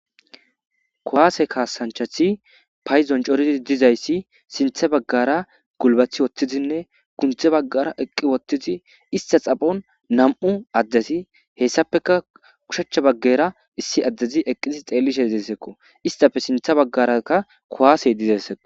Kuwase kaassanchati paydon coridi dizays sinththa baggara gulbati uttidinne gunde baggara eqqi uttidi ista xaphon nami'u addeti hessappekka oshachcha baggara issi addezi eqqidi xeellishe dizayssako. Istappe sinththa baggara qa kuwasey dizaysako.